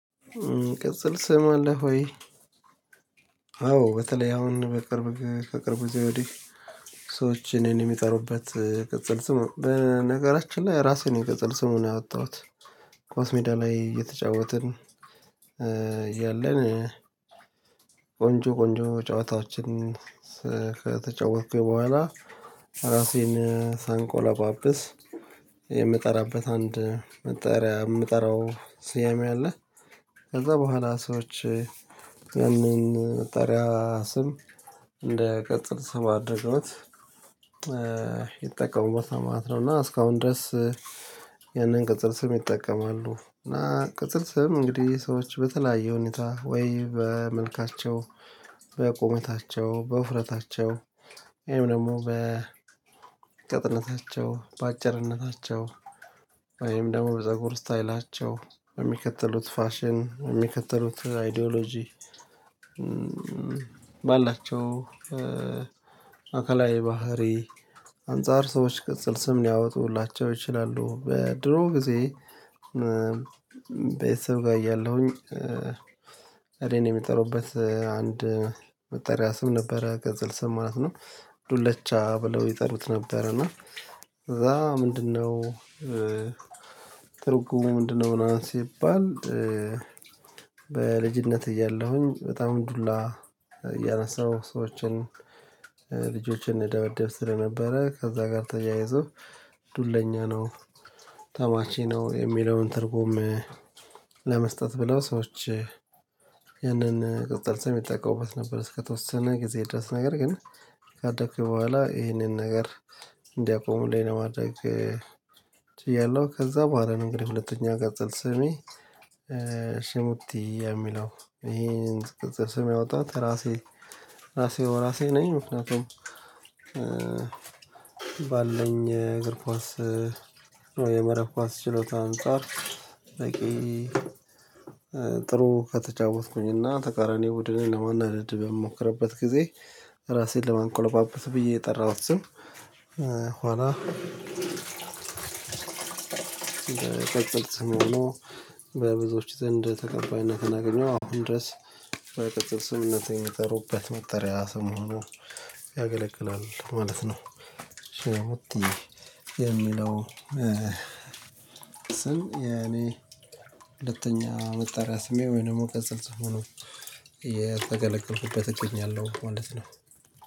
ቅጽል ስም አለ ሆይ አዎ በተለይ አሁን በቅርብ ከቅርብ ግዜ ወዲህ። ሰዎች እኔን የሚጠሩበት ቅጽል ስም በነገራችን ላይ ራሴን የቅጽል ስምን ያወጣሁት ኻስ ሜዳ ላይ እየተጫወትን ያለን ቆንጆ ቆንጆ ጨዋታዎችን ከተጫወትኩኝ በኋላ ራሴን ሳንቆላጳጵስ የምጠራበት አንድ መጠሪያ የምጠራው ስያሜ አለ። ከዛ በኋላ ሰዎች ያንን መጠሪያ ስም እንደ ቅጽል ስም አድርገውት ይጠቀሙበትና ማለት ነው እና እስካሁን ድረስ ያንን ቅጽል ስም ይጠቀማሉ እና ቅጽል ስም እንግዲህ ሰዎች በተለያዩ ሁኔታ ወይ በመልካቸው በቁመታቸው በውፍረታቸው ወይም ደግሞ በቅጥነታቸው በአጭርነታቸው ወይም ደሞ በፀጉር ስታይላቸው በሚከተሉት ፋሽን በሚከተሉት አይዶሎጂ ባላቸው አካላዊ ባህሪ አንፃር ሰዎች ቅጽል ስም ሊያወጡላቸው ይችላሉ። በድሮ ጊዜ ቤተሰብ ጋር እያለሁኝ እኔን የምጠሩበት አንድ መጠሪያ ስም ነበረ ቅጽል ስም ማለት ነው። ዱለቻ ብለው ይጠሩት ነበረ እና እዛ ምንድነው ትርጉሙ ምንድነው? ምናምን ሲባል በልጅነት እያለሁኝ በጣም ዱላ እያነሳሁ ሰዎችን ልጆችን እደበደብ ስለነበረ ከዛ ጋር ተያይዞ ዱለኛ ነው። ተማቺ ነው የሚለውን ትርጉም ለመስጠት ብለው ሰዎች ያንን ቅጽል ሰም ይጠቀሙበት ነበር። እስከተወሰነ ጊዜ ድረስ ነገር ግን ካደኩ በኋላ ይሄንን ነገር እንዲያቆምልኝ ለማድረግ ችያለሁ። ከዛ በኋላ ነው። እንግዲህ ሁለተኛ ቅጽል ስሜ ሽሙቲ የሚለው ይህንን ቅጽል ስም ያወጣሁት ራሴ ራሴ በራሴ ነኝ ምክንያቱም ባለኝ እግር ኳስ የመረብ ኳስ ችሎታ አንፃር ጥሩ ከተጫወትኩኝና ተቃራኒ ቡድንን ለማናደድ በምሞክርበት ጊዜ ራሴን ለማንቆለጳጰስ ብዬ የጠራሁት ስም። ኋላ ቅጽል ስም ሆኖ በብዙዎች ዘንድ ተቀባይነትን አገኘው አሁን ድረስ በቅጽል ስምምነት የመጠሩበት መጠሪያ ሰሞኑን ያገለግላል ማለት ነው። ሸሩቲ የሚለው ስም ያኔ የኔ ሁለተኛ መጠሪያ ስሜ ወይ ደግሞ ቀፅል ስም ሁኖ የተገለገልኩበት እገኛለሁ ማለት ነው።